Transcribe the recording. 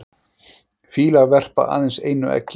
fýlar verpa aðeins einu eggi